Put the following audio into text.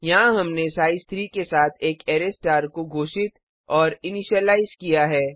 यहाँ हमने साइज 3 के साथ एक अरै स्टार को घोषित और इनिशीलाइज किया है